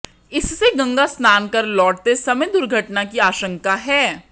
इससे गंगा स्नान कर लौटते समय दुर्घटना की आशंका है